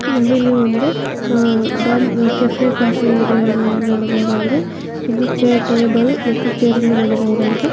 ನಾವಿಲ್ಲಿ ಒಂದು ಡಾ ಕೆಫೆ ಕಾಫಿ ಡೇ ಅನ್ನು ನೋಡಬಹುದಾಗಿದೆ ಇಲ್ಲಿ ಚೆ ಟೇಬಲ್ ಮತ್ತು ಚೇರ್ ಅನ್ನು ನೋಡಬಹುದಾಗಿದೆ.